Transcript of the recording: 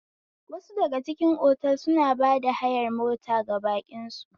Wasu daga cikin otal suna ba hayar mota ga baƙin su